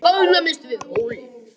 Hún staðnæmist við hólinn.